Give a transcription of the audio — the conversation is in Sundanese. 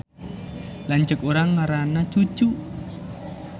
Lanceuk urang ngaranna Cucu